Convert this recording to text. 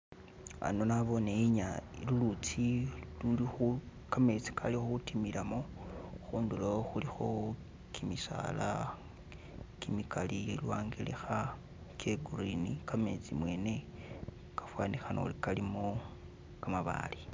Hano nabone lulutsi luli kametsi gali gudimilamo khudilo khulikho gimisaala gimigali lwangelekha gye green gametsi mwene gafanikhana uri galimo gamabaale.